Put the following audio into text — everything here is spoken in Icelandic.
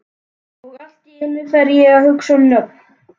Og allt í einu fer ég að hugsa um nöfn.